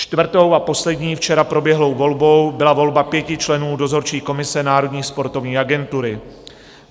Čtvrtou a poslední včera proběhlou volbou byla volba pěti členů Dozorčí komise Národní sportovní agentury.